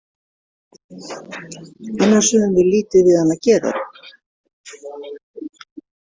Annars höfum við lítið við hann að gera.